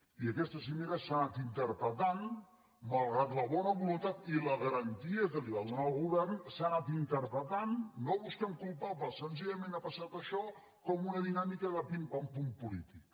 i aquesta cimera s’ha anat interpretant malgrat la bona voluntat i la garantia que li va donar el govern no busquem culpables senzillament ha passat això com una dinàmica de pim pam pum polític